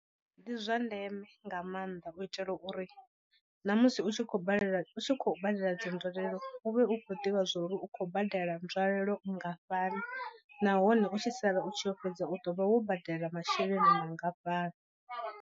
Ndi zwa ndeme nga maanḓa u itela uri na musi u tshi khou balelwa u tshi khou badela dzi nzwalelo u vhe u khou ḓivha zwa uri u khou badela nzwalelo nngafhani nahone u tshi sala u tshi yo fhedza u ḓo vha wo badela masheleni mangafhani.